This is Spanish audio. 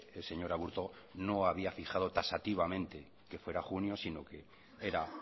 el señor aburto no había fijado taxativamente que fuera junio sino que era